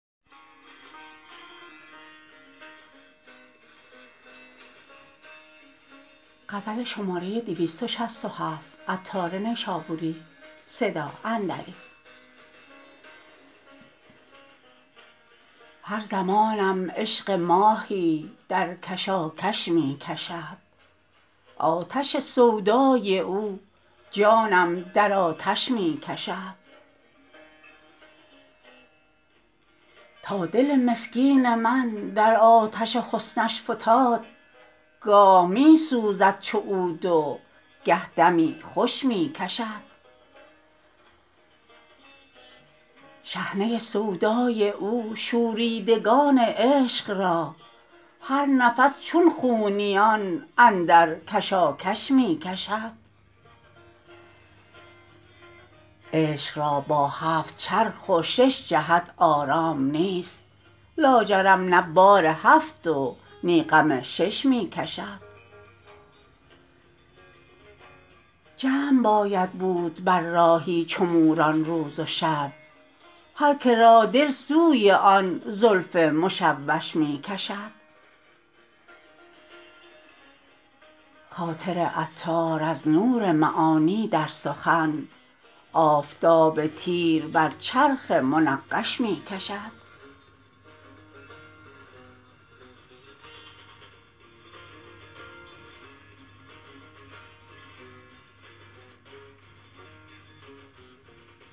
هر زمانم عشق ماهی در کشاکش می کشد آتش سودای او جانم در آتش می کشد تا دل مسکین من در آتش حسنش فتاد گاه می سوزد چو عود و گه دمی خوش می کشد شحنه سودای او شوریدگان عشق را هر نفس چون خونیان اندر کشاکش می کشد عشق را با هفت چرخ و شش جهت آرام نیست لاجرم نه بار هفت و نی غم شش می کشد جمع باید بود بر راهی چو موران روز و شب هر که را دل سوی آن زلف مشوش می کشد خاطر عطار از نور معانی در سخن آفتاب تیر بر چرخ منقش می کشد